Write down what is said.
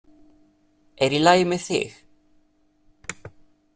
Er í lagi með þig?